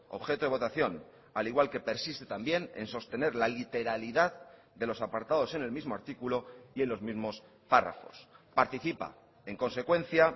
objeto de votación al igual que persiste también en sostener la literalidad de los apartados en el mismo artículo y en los mismos párrafos participa en consecuencia